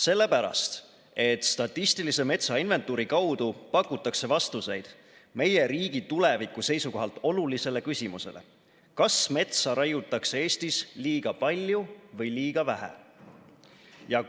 Sellepärast, et statistilise metsainventuuri kaudu pakutakse vastuseid meie riigi tuleviku seisukohalt olulisele küsimusele: kas metsa raiutakse Eestis liiga palju või liiga vähe?